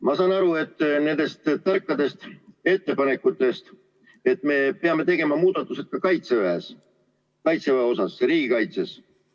Ma saan aru nendest tarkadest ettepanekutest, et me peame tegema muudatused ka Kaitseväes, riigikaitses.